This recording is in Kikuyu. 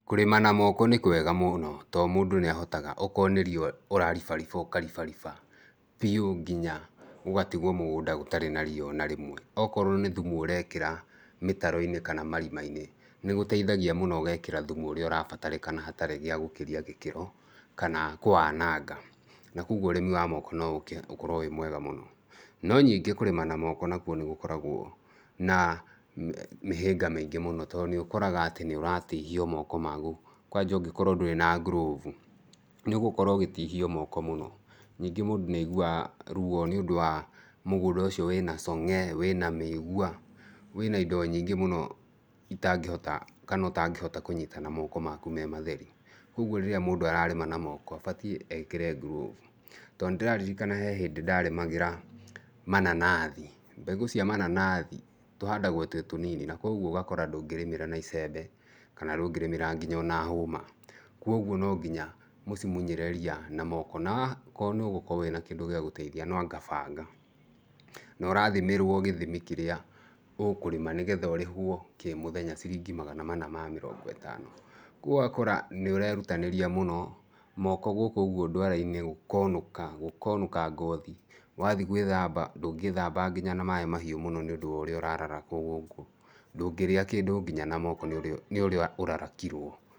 Kũrĩma na moko nĩ kwega mũno tondũ mũndũ nĩ ahotaga okorwo nĩ ria ũraribariba, ũkaribariba biũ nginya gũgatigwo mũgũnda gũtarĩ na ria o na rĩmwe. Okorwo nĩ thumu ũrekĩra mĩtaro-inĩ kana marima-inĩ, nĩ gũteithagia mũno ũgekĩra thumu ũrĩa ũrabatarĩkana hatarĩ gĩa gũkĩria gĩkĩro, kana kũwananga, na kũguo ũrĩmi wa moko no ũke ũkorwo wĩ mwega mũno. No ningĩ kũrĩma na moko nakuo nĩ gũkoragwo na mĩhĩnga mĩingĩ mũno tondũ nĩ ũkoraga atĩ nĩ ũratihio moko maku kwanja ũngĩkorwo ndũrĩ na ngurovu, nĩ ũgũkorwo ũgĩtihio moko mũno. Ningĩ mũndũ nĩ aiguaga ruo tondũ wa mũgũnda ũcio wĩna cong'e, wĩna mĩigua, wĩna indo nyingĩ mũno ũtangĩhota kũnyita na moko maku me matheri. Ũguo rĩrĩa mũndũ ararĩma na moko abatiĩ ekĩre ngurovu tondũ nĩ ndĩraririkana he hĩndĩ ndarĩmagĩra mananathi, mbegũ cia mananathi tũhandagwo twĩ tũnini kũguo ũgakora ndũngĩrĩmĩra na icembe, kana ndũngĩrĩmĩra nginya ona hũma, kũguo nonginya mũcimunyĩre ria na moko na okorwo wĩna kĩndũ gĩa gũteithia, nwanga banga na ũrathimĩrwo gĩthimi kĩrĩa ũkũrĩma nĩgetha ũrĩhwo kĩmũthenya ciringi magana mana ma mĩrongo ĩtano. kũguo ũgakora nĩ ũrerutanĩria mũno, moko gũkũ ũguo ndwara-inĩ gũkonũka ngothi, wathiĩ gwĩthamba ndũngĩthamba nginya na maĩ mahiũ mũno nĩũndũ wa ũrĩa ũrarakwo gũkũ, ndũngĩrĩa kĩndũ nginya na moko nĩ ũrĩa nginya ũrarakirwo.